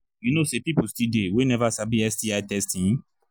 you know say people still they we never sabi sti testing